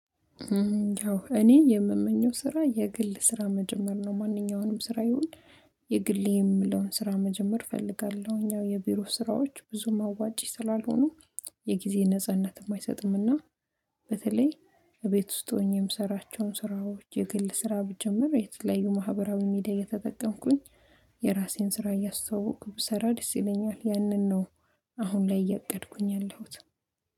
እኔ የምመኘው ስራ የግል ስራ መጀመር ነው ማንኛውንም ስራ ይሁን። የግል የምለው ስራ መጀመር እፈልጋለሁ እኛ የቢሮ ስራዎች ብዙም አዋጪ ስላልሆኑ የጊዜ ነጻነትም አይሰጡምና። በተለይ ቤት ውስጥ ሆኜ ምሰራቸውን ስራዎች የግል ስራ ብጀምር የተለያዩ ማህበራዊ ሚዲያ እየተጠቀምኩኝ የራሴን ስራ እያስተዋወኩ ብሰራ ደስ ይለኛል ያነን ነው። አሁን ላይ እያቀድኩኝ ያለሁት